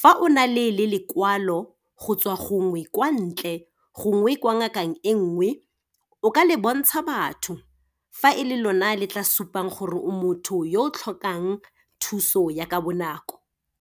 Fa o na le lekwalo, go tswa gongwe kwa ntle, gongwe kwa ngakeng e nngwe, o ka le bontsha batho. Fa e le lona le tla supang gore o motho yo o tlhokang thuso ya ka bonako.